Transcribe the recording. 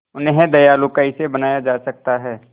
उन्हें दयालु कैसे बनाया जा सकता है